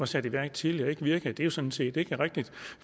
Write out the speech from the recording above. sat i værk tidligere ikke virkede det sådan set ikke rigtigt